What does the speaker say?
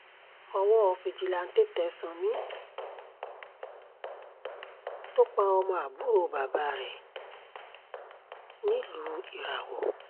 owó fìjìláńtẹ́ tẹ́ sanni tó pa ọmọ àbúrò bàbá rẹ̀ nílùú ìràwọ̀